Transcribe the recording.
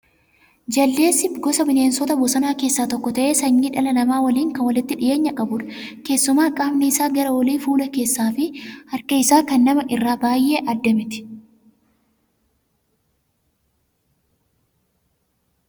Jaldeessi gosa bineensota bosonaa keessaa tokko ta'ee sanyii dhala namaa waliin kan walitti dhiyeenya qabudha. Keessumaa qaamni isaa gara olii fuula keessaa fi harki isaa kan namaa irraa baay'ee adda mitii